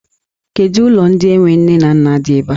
Kedụ ụlọ ndị enwe nne na nna di ebe a?